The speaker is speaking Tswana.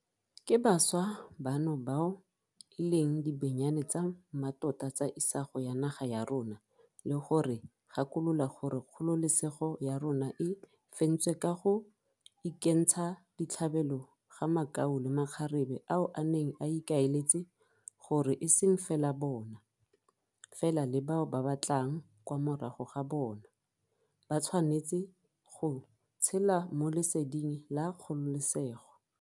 Ke bašwa bano bao e leng dibenyane tsa mmatota tsa isago ya naga ya rona le go re gakolola gore kgololesego ya rona e fentswe ka go ikentsha ditlhabelo ga makau le makgarebe ao a neng a ikaeletse gore eseng fela bona, fela le bao ba tlang kwa morago ga bona, ba tshwanetse go tshela mo leseding la kgololesego.